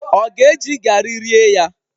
Ọ ga-eji garị rie ya?